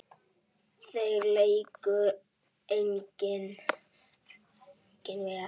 Þeir léku einnig vel.